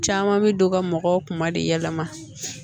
Caman bɛ don ka mɔgɔw kuma de yɛlɛma